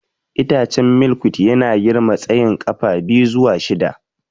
Itacen Milkweed yana girma tsayin ƙafa biyu zuwa shida.